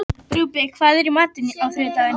Rúben, hvað er í matinn á þriðjudaginn?